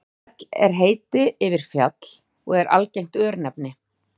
fell er heiti yfir fjall og er algengt örnefni